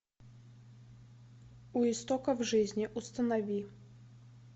у истоков жизни установи